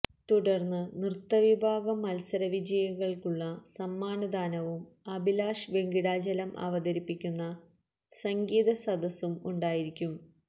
തുടർന്ന് നൃത്ത വിഭാഗം മത്സര വിജയികൾക്കുള്ള സമ്മാനദാനവും അഭിലാഷ് വെങ്കിടാചലം അവതരിപ്പിക്കുന്ന സംഗീത സദസും ഉണ്ടായിരിക്കും